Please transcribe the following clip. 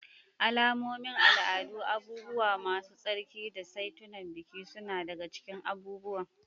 Alamomin al'adu, abubuwa masu tsarki, da saitunan biki suna daga cikin abubuwan.